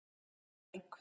Auðbjörg